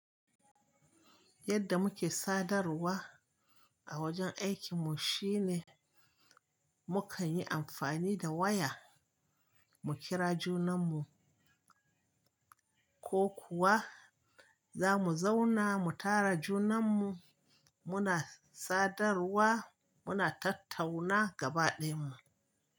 Yadda muke sadarwa a wajen aikin mu shine mukan yi amfani da waya mu kira junan mu ko kuwa za mu zauna mu tara junan mu muna sadarwa muna tattauna gaba ɗayan mu.